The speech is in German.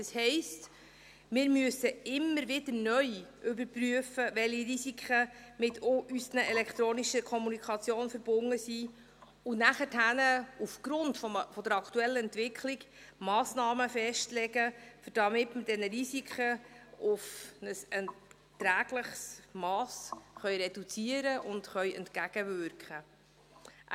Das heisst, wir müssen immer wieder neu überprüfen, welche Risiken mit unserer elektronischen Kommunikation verbunden sind und nachher aufgrund der aktuellen Entwicklung Massnahmen festlegen, damit wir diese Risiken auf ein erträgliches Mass reduzieren und ihnen entgegenwirken können.